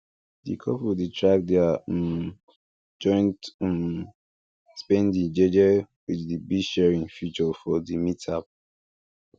di couple dey track their um joint um spending jeje with the billsharing feature for di mint app